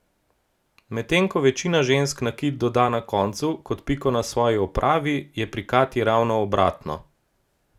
Medtem ko večina žensk nakit doda na koncu, kot piko na svoji opravi, je pri Katji ravno obratno.